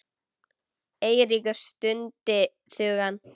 Eiríkur stundi þungan.